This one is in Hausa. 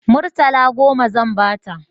Murtala goma zan ba ta